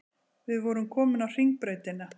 Við vorum komin á Hringbrautina.